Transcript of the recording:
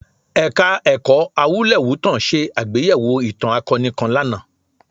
Ẹ̀ka-ẹ̀kọ́ Awúlẹ̀wútàn ṣe àgbéyẹ̀wò ìtàn akọni kan lánàá